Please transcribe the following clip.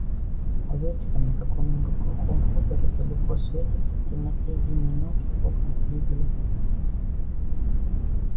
а вечером на каком-нибудь глухом хуторе далеко светятся в темноте зимней ночи окна флигеля